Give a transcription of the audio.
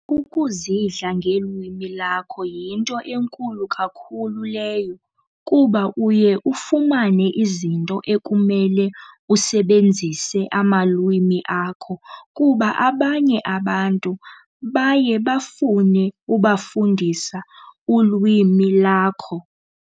Ukuzidla ngelwimi lakho yinto enkulu kakhulu leyo kuba uye ufumane izinto ekumele usebenzise amalwimi akho kuba abanye abantu baye bafune ubafundisa ulwimi lakho.